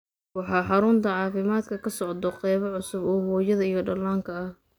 Waxaa xarunta caafimaadka ka socda qayb cusub oo hooyada iyo dhallaanka ah